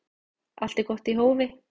Allt er gott í hófi